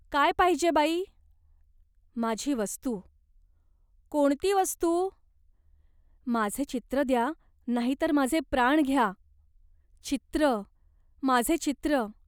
"काय पाहिजे बाई ?"" माझी वस्तू." "कोणती वस्तू?" "माझे चित्र द्या नाहीतर माझे प्राण घ्या. चित्र, माझे चित्र.